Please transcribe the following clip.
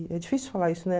É difícil falar isso, né?